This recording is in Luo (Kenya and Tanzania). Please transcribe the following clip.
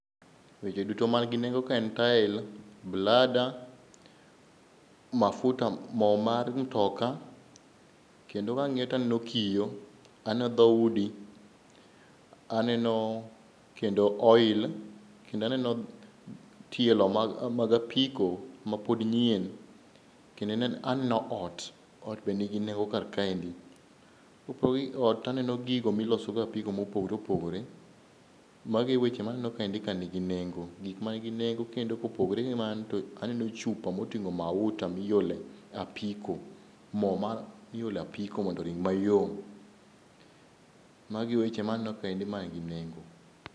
Weche duto man gi nengo kae en tael, blada, mafuta mo mar mtoka. Kendo kang'iyo taneno kiyo, aneno dhoudi, aneno kendo oil, kendaneno tielo mag apiko ma pod nyien. Kendo aneno ot, ot be nigi nengo kar kaendi. Kopogore gi ot, taneno gigo miloso go apiko mopogore opogore. Mago e weche maneno kaendi ka nigi nengo, gik ma nigi nengo kendo kopogore gi mano to aneno chupa moting'o mauta miole apiko. Mo mar miole apiko mondo rong mayom. Magi e weche maneno kaendi man gi nengo.